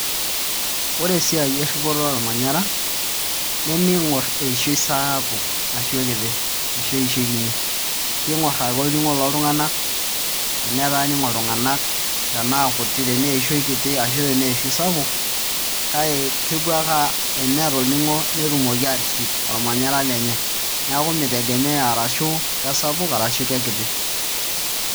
Ore esiai erripoto ormanyara nemiing'orr eishoi sapuk ashu kiti ashu eishoi kinyi, kiing'orr ake olning'o loltung'anak teneeku ening'o iltunganak tenaa eishoi kiti tenaa eishoi sapuk kake teneeta olning'o netumoki ake aatorrip ormanyara lenye neeku mitegemea arashu kesapuk arashu kekiti.